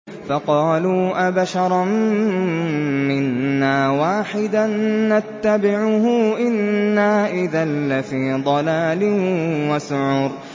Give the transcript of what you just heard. فَقَالُوا أَبَشَرًا مِّنَّا وَاحِدًا نَّتَّبِعُهُ إِنَّا إِذًا لَّفِي ضَلَالٍ وَسُعُرٍ